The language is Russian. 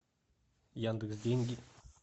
яндекс деньги